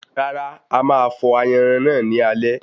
Rárá, ama fọ̀ ayanran náà ní alẹ́